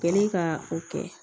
Kɛlen ka o kɛ